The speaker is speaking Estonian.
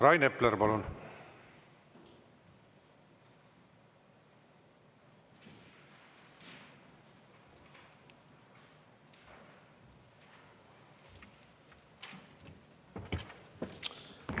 Rain Epler, palun!